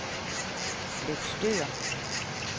Løgstør